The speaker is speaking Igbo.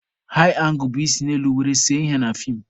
Haị angụl bụ isi n'elu were see ihe na feem.